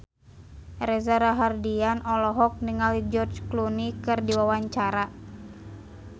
Reza Rahardian olohok ningali George Clooney keur diwawancara